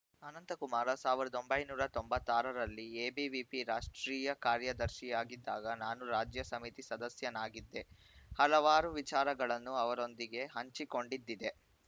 ಅನಂತಕುಮಾರ ಸಾವಿರದ ಒಂಬೈನೂರ ತೊಂಬತ್ತ್ ಆರರಲ್ಲಿ ಎಬಿವಿಪಿ ರಾಷ್ಟ್ರೀಯ ಕಾರ್ಯದರ್ಶಿಯಾಗಿದ್ದಾಗ ನಾನು ರಾಜ್ಯ ಸಮಿತಿ ಸದಸ್ಯನಾಗಿದ್ದೆ ಹಲವಾರು ವಿಚಾರಗಳನ್ನು ಅವರೊಂದಿಗೆ ಹಂಚಿಕೊಂಡಿದ್ದಿದೆ